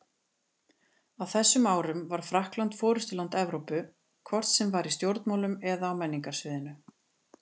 Á þessum árum var Frakkland forystuland Evrópu, hvort sem var í stjórnmálum eða á menningarsviðinu.